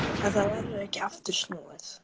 En það verður ekki aftur snúið.